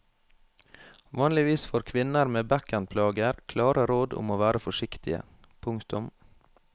Vanligvis får kvinner med bekkenplager klare råd om å være forsiktige. punktum